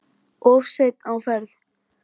Of seinn á ferð?